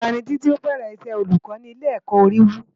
Ólà ni Titi ábèrè Isè ólúkò ni Ilé èkò Óriwú